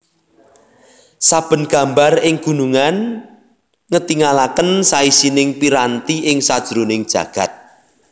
Saben gambar ing gunungan ngetingalaken saisining piranti ing sajroning jagad